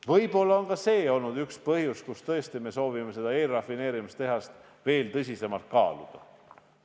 Võib-olla on ka see olnud üks põhjus, miks me tõesti soovime eelrafineerimistehast veel tõsisemalt kaaluda.